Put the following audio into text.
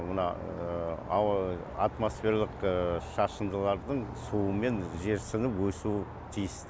мына ауа атмосфералық шашындылардың суымен жерсініп өсуі тиіс